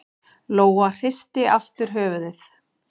Lóa hristi aftur höfuðið.